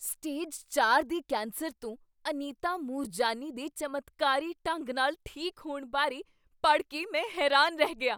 stage ਚਾਰ ਦੇ cancer ਤੋਂ ਅਨੀਤਾ ਮੂਰਜਾਨੀ ਦੇ ਚਮਤਕਾਰੀ ਢੰਗ ਨਾਲ ਠੀਕ ਹੋਣ ਬਾਰੇ ਪੜ੍ਹ ਕੇ ਮੈਂ ਹੈਰਾਨ ਰਹਿ ਗਿਆ